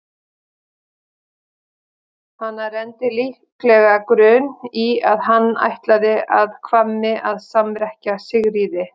Hana renndi líklega grun í að hann ætlaði að Hvammi að samrekkja Sigríði.